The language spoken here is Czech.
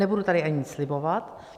Nebudu tady ani nic slibovat.